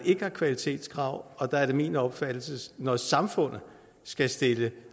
ikke er kvalitetskrav og der er det min opfattelse at når samfundet skal stille